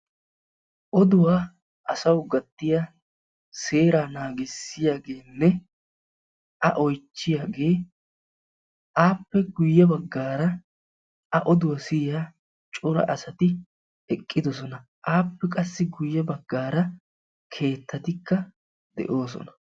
oduwa asawu gattiya a oychiyaagee appe guye bagaara a oduwa siyiyaa asati eqqidosona.